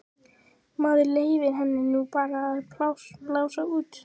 Maður leyfir henni nú bara að blása út.